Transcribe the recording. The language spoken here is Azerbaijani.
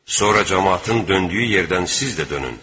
Sonra camaatın döndüyü yerdən siz də dönün.